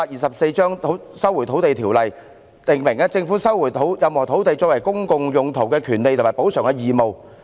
《收回土地條例》訂明政府收回任何土地作公共用途的權利及補償的義務。